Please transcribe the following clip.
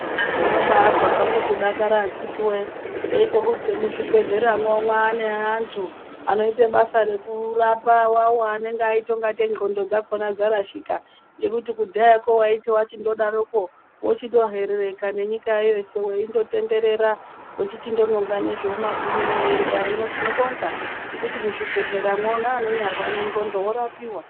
Ndinobaazwa zvangu kudakara akiti wee ndeizwe kuzwi muzvibhehleramwo mwaane antu anoite basa rekurapa wawaanenge aite ekuti ndxondo dzakona dzarashika. Nekuti, kudhayakwo waiti waita ekudarokwo wochitoherereka nenyika ino yeshe weichinongera ngezvemumabhini. Hino tikobonga nekuti muzvibhehleramwo neanorwara nendxondo vorapika.